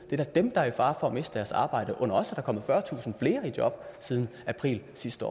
er da dem der er i fare for at miste deres arbejde under os er der kommet fyrretusind flere i job siden april sidste